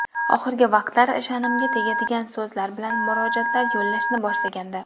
Oxirgi vaqtlar sha’nimga tegadigan so‘zlar bilan murojaatlar yo‘llashni boshlagandi.